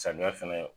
Samiya fɛnɛ